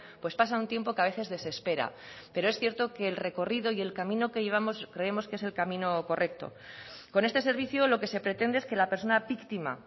pues pasa un tiempo que a veces desespera pero es cierto que el recorrido y el camino que llevamos creemos que es el camino correcto con este servicio lo que se pretende es que la persona víctima